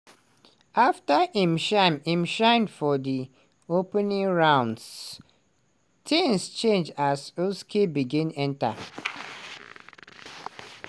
afta im shine im shine for di opening rounds tins change as usyk begin enta